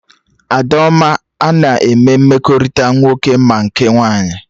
Adaoma ana eme mmekọrịta nwoke ma nke nwaanyị?